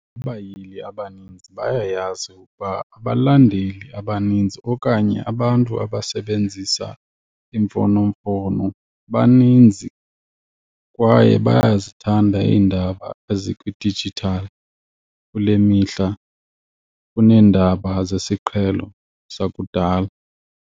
Abayili abaninzi bayayazi ukuba abalandeli abaninzi okanye abantu abasebenzisa iimfonomfono baninzi kwaye bayazithanda iindaba ezikwidijithali kule mihla kuneendaba zesiqhelo zakudala.